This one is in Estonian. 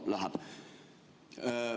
No läheb.